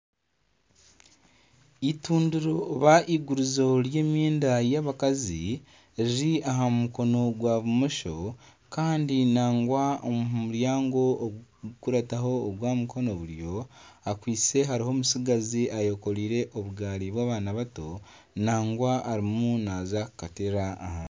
Itundiro oba igurizo ry'emyenda y'abakazi riri aha mukono gwa bumosho kandi nagwa aha muryango ogukukurataho ogwa mukono buryo akwaitse hariho omutsigazi ayekoreire obugaari bw'abaana bato nagwa arimu naza kukateera ahansi.